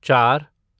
चार